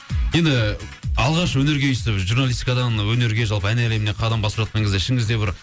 енді алғаш өнерге журналистикадан өнерге жалпы ән әлеміне қадам басып жатқан кезде ішіңізде бір